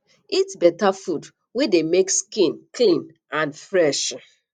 eat better food wey dey make skin clean and fresh um